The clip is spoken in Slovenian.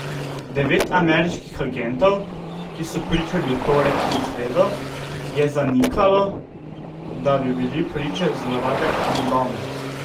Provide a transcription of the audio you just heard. Devet ameriških agentov, ki so pričali v torek in sredo, je zanikalo, da bi bili priče zlorabe Hamdana.